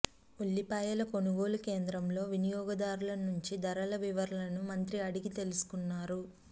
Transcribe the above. ఉల్లిపాయల కొనుగోలు కేంద్రంలో వినియోగదారుల నుంచి ధరల వివరాలను మంత్రి అడిగి తెలుసుకున్నారు